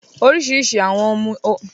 Orísirísi àwọn ohun mímu ni ó wà